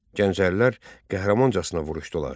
Gəncəlilər qəhrəmancasına vuruşdular.